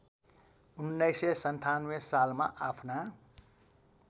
१९९७ सालमा आफ्ना